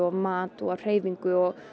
mat og hreyfingu og